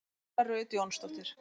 Nanna Rut Jónsdóttir